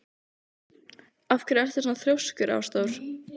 Af hverju ertu svona þrjóskur, Ásdór?